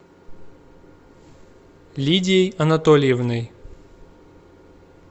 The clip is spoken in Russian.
лидией анатольевной